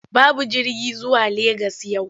Babu jirgi zuwa Legas yau.